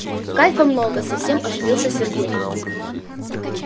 кайфа много совсем оживился сергей